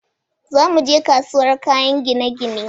Za muje kasuwar kayan gine-gine